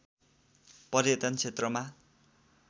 पर्यटन क्षेत्रमा